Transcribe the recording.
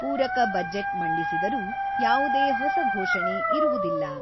ಪೂರಕ ಬಜೆಟ್ ಮಂಡಿಸಿದರೂ, ಯಾವುದೇ ಹೊಸ ಘೋಷಣೆ ಇರುವುದಿಲ್ಲ.